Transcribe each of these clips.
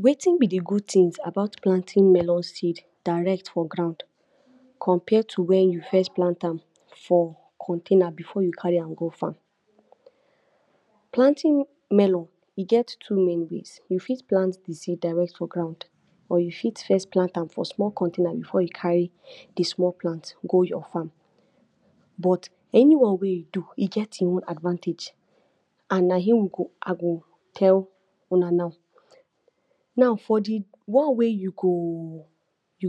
Wetin b de good things about planting melon seeds direct for ground compare to wen u first plant am for container before u carry an go farm? Planting melon e get too many ways we fit plant de seed direct for ground or u fit first plant am for small container before y carry de small plant go your farm but anyone wey u do e get hin own advantage and hin I go tell una now. Now for de one wey u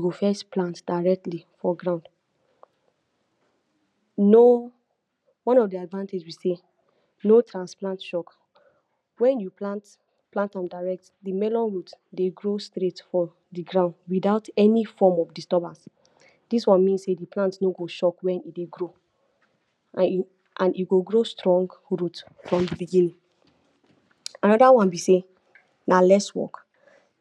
go first plant directly for ground no, one of de advantage be say no transplant shock, wen you plant am direct de melon root grow straight for de ground without any form of disturbance, dis one mean sey de plant no go shock wen e grow, and e go grow strong root from de beginning. Another one be sey na less work,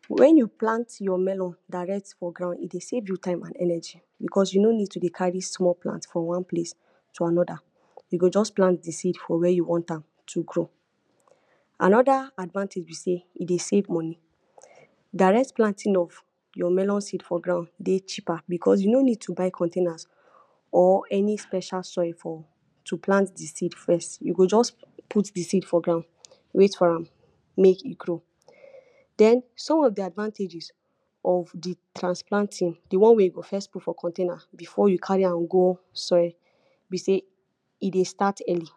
wen u plant your melon direct for ground e save you time and energy because u no need to carry small pot from one place to another, u go just plant de seed for where u want am to grow, another advantage b sey e save money, direct planting of your melon cheaper because u no need to buy containers or any special soil for to plant de seed first, u go jus put de seed for ground wait for am make e grow. Den some of de advantages of de transplanting, de one wey u go first put for container before u carry am go soil b sey e start early,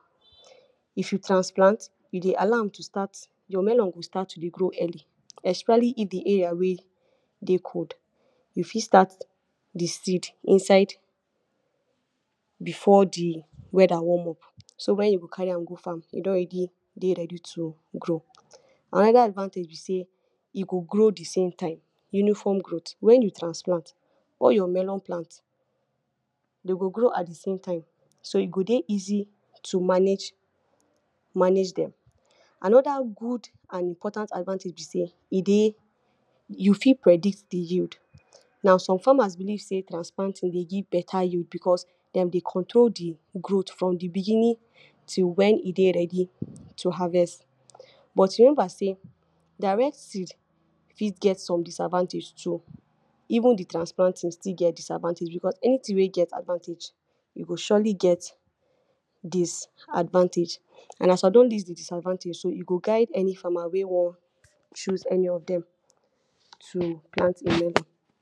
if u transplant you allow am to start, your melon go start to grow early, especially if de area wey cold e fit start de seed inside before de weather warm up, so wen u go carry am go farm e don already ready to grow, another advantage b e go grow thesame time, uniform growth, wen u transplant all your melon plants dem go grow at thesame time so e go easy to manage dem, another good and important advantage b sey e, u fit predict de yield, now some farmers believe sey transplanting give better yield because dem control de growth from de beginning to wen e ready to harvest, but remember sey direct seed fit get some disadvantage too even de transplanting too still get disadvantage because every thing wey get advantage e go surely get disadvantage, and as I din lost de disadvantage so e go guid any farmer wey wan choose any of dem to plant hin melon.